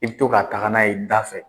I bi to k'a taga n'a ye dafɛ